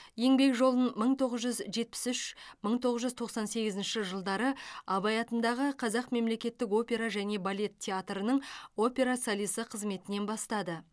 еңбек жолын мың тоғыз жүз жетпіс үш мың тоғыз жүз тоқсан сегізінші жылдары абай атындағы қазақ мемлекеттік опера және балет театрының опера солисі қызметінен бастады